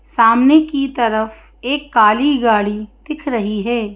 सामने की तरफ एक काली गाड़ी दिख रही है।